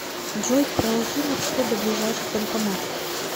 джой проложи маршрут до ближайших банкоматов